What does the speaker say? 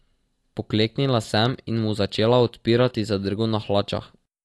Pokleknila sem in mu začela odpirati zadrgo na hlačah.